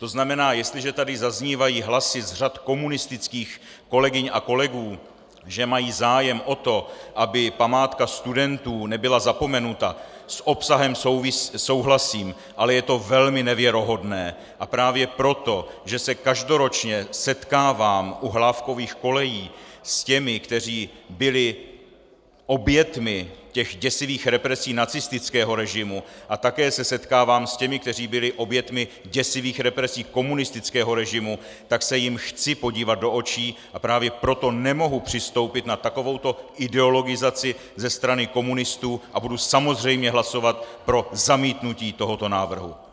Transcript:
To znamená, jestliže tady zaznívají hlasy z řad komunistických kolegyň a kolegů, že mají zájem o to, aby památka studentů nebyla zapomenuta, s obsahem souhlasím, ale je to velmi nevěrohodné, a právě proto, že se každoročně setkávám u Hlávkových kolejí s těmi, kteří byli oběťmi těch děsivých represí nacistického režimu, a také se setkávám s těmi, kteří byli oběťmi děsivých represí komunistického režimu, tak se jim chci podívat do očí, a právě proto nemohu přistoupit na takovouto ideologizaci ze strany komunistů a budu samozřejmě hlasovat pro zamítnutí tohoto návrhu.